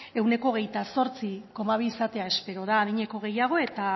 ehuneko hogeita zortzi koma bi izatea espera da adineko gehiago eta